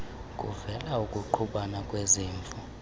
kuvele ukungqubana kwezimvo